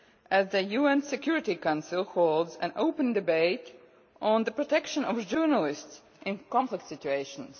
as the UN Security Council is holding an open debate on the protection of journalists in conflict situations.